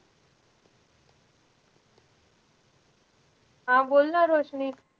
हा बोल ना रोशनी.